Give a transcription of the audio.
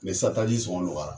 sisan taji sɔngɔ nɔgɔyara.